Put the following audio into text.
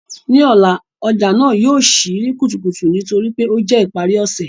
Ni ọla, ọja naa yóò ṣii ni kutukutu nitori pe o jẹ ipari ọsẹ